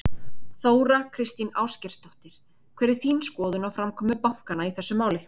Þóra Kristín Ásgeirsdóttir: Hver er þín skoðun á framkomu bankanna í þessu máli?